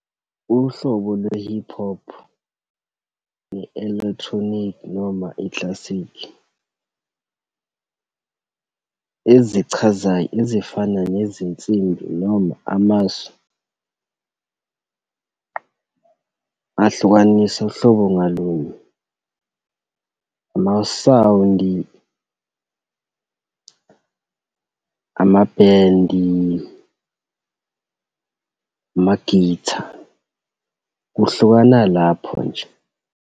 Uhlobo lwe-hip hop, ne-electronic, noma i-classic, ezichazayo, ezifana nezinsimbi noma amasu ahlukanisa uhlobo ngalunye, ama-sound-i, amabhendi, ama-guitar. Kuhlukana lapho nje.